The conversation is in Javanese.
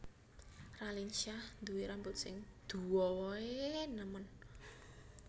Raline Shah duwe rambut sing duowo e nemen